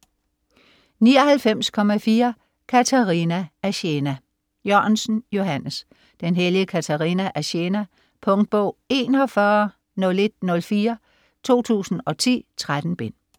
99.4 Katerina af Siena Jørgensen, Johannes: Den hellige Katerina af Siena Punktbog 410104 2010. 13 bind.